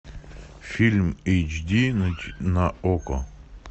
фильм эйч ди на окко